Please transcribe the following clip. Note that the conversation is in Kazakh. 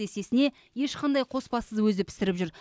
есесіне ешқандай қоспасыз өзі пісіріп жүр